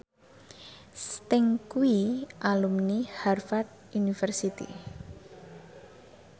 Sting kuwi alumni Harvard university